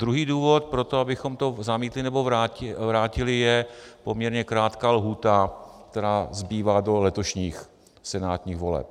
Druhý důvod pro to, abychom to zamítli nebo vrátili, je poměrně krátká lhůta, která zbývá do letošních senátních voleb.